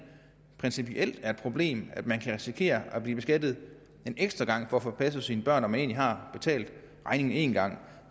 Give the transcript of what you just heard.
principielt er et problem at man kan risikere at blive beskattet en ekstra gang for at få passet sine børn når man har betalt regningen en gang